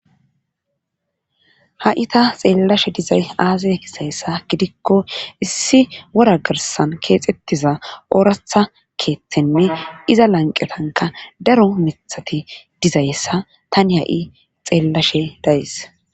ha7i ta xeellashe dizay aazay kisayssa gidikko issi wora girsan keexxettiza ooratha keeththenne iza lanqetanka daro mithati dizayssa tani ha7i xeellashe dayis